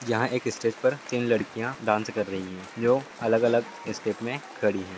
यहाँ एक स्टेज पर तीन लड़किया डांस कर रही हैं जो अलग अलग स्टेप में खड़ी हैं |